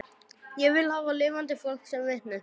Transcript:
Ég vil hafa lifandi fólk sem vitni